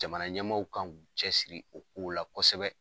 Jamana ɲɛmaaw kan k'u cɛsiri o kow la kosɛbɛ